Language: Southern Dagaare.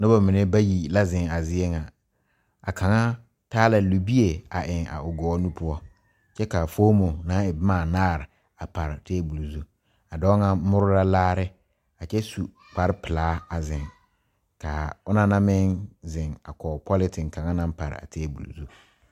Nobɔ mine bayi la zeŋ a zie ŋa a kaŋa taa la libie a eŋ a o gɔɔ nu poɔ kyɛ kaa foomo naŋ e bomaanaare a pare tabol zu a dɔɔ ŋa more la laare a kyɛ su kpare pilaa a zeŋ kaa onɔŋ na meŋ zeŋ a kɔg polentin kaŋa naŋ paraa tabol zu.